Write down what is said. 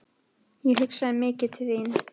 Ég hugsaði mikið til þín.